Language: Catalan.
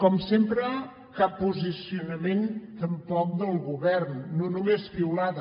com sempre cap posicionament tampoc del govern no només piulada